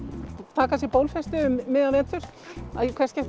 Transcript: taka sér bólfestu um miðjan vetur í hvert skipti